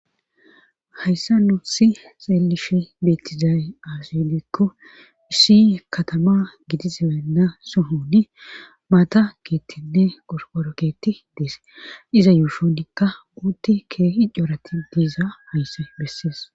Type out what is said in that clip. hayssa nu si xeelishi beettizaay aasedikko issi katama gidi zibenna sohoni maata keettinne gororoketi deese iza yuushonka uuti keehi ccorati diizaysa bessees